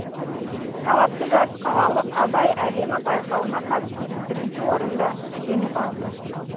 талапты жас қалалық абай әлемі байқауына қатысып бірінші орынды жеңіп алды